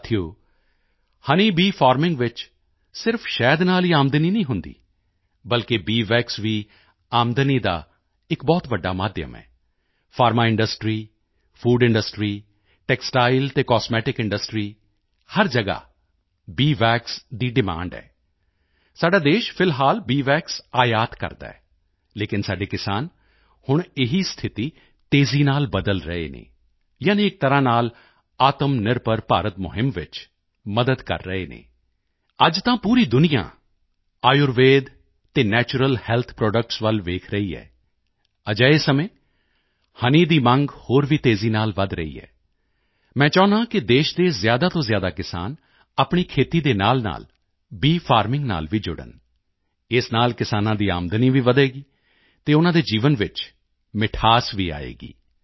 ਸਾਥੀਓ honey bee farming ਵਿੱਚ ਸਿਰਫ ਸ਼ਹਿਦ ਨਾਲ ਹੀ ਆਮਦਨੀ ਨਹੀਂ ਹੁੰਦੀ ਬਲਕਿ ਬੀ ਵੈਕਸ ਵੀ ਆਮਦਨੀ ਦਾ ਇਕ ਬਹੁਤ ਵੱਡਾ ਮਾਧਿਅਮ ਹੈ pharma industry food industry textile ਅਤੇ ਕਾਸਮੈਟਿਕ ਇੰਡਸਟਰੀ ਹਰ ਜਗ੍ਹਾ ਬੀ ਵੈਕਸ ਦੀ ਡਿਮਾਂਡ ਹੈ ਸਾਡਾ ਦੇਸ਼ ਫਿਲਹਾਲ ਬੀ ਵੈਕਸ ਆਯਾਤ ਕਰਦਾ ਹੈ ਲੇਕਿਨ ਸਾਡੇ ਕਿਸਾਨ ਹੁਣ ਇਹ ਸਥਿਤੀ ਤੇਜ਼ੀ ਨਾਲ ਬਦਲ ਰਹੇ ਹਨ ਯਾਨੀ ਇਕ ਤਰ੍ਹਾਂ ਨਾਲ ਆਤਮਨਿਰਭਰ ਭਾਰਤ ਮੁਹਿੰਮ ਵਿੱਚ ਮਦਦ ਕਰ ਰਹੇ ਹਨ ਅੱਜ ਤਾਂ ਪੂਰੀ ਦੁਨੀਆਂ ਆਯੁਰਵੇਦ ਅਤੇ ਨੈਚੁਰਲ ਹੈਲਥ ਪ੍ਰੋਡਕਟਸ ਵੱਲ ਵੇਖ ਰਹੀ ਹੈ ਅਜਿਹੇ ਸਮੇਂ ਹਨੀ ਦੀ ਮੰਗ ਹੋਰ ਵੀ ਤੇਜ਼ੀ ਨਾਲ ਵਧ ਰਹੀ ਹੈ ਮੈਂ ਚਾਹੁੰਦਾ ਹਾਂ ਕਿ ਦੇਸ਼ ਦੇ ਜ਼ਿਆਦਾ ਤੋਂ ਜ਼ਿਆਦਾ ਕਿਸਾਨ ਆਪਣੀ ਖੇਤੀ ਦੇ ਨਾਲਨਾਲ ਬੀ ਫਾਰਮਿੰਗ ਨਾਲ ਵੀ ਜੁੜਨ ਇਸ ਨਾਲ ਕਿਸਾਨਾਂ ਦੀ ਆਮਦਨੀ ਵੀ ਵਧੇਗੀ ਅਤੇ ਉਨ੍ਹਾਂ ਦੇ ਜੀਵਨ ਵਿੱਚ ਮਿਠਾਸ ਵੀ ਆਏਗੀ